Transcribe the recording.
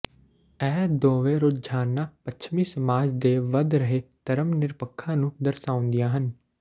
ਇਹ ਦੋਵੇਂ ਰੁਝਾਨਾਂ ਪੱਛਮੀ ਸਮਾਜ ਦੇ ਵੱਧ ਰਹੇ ਧਰਮ ਨਿਰਪੱਖਤਾ ਨੂੰ ਦਰਸਾਉਂਦੀਆਂ ਹਨ